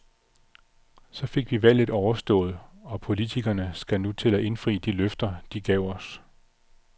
Så fik vi valget overstået, og politikerne skal nu til at indfri alle de løfter, de gav os.